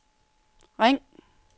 ring